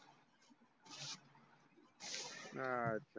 अं आच्छा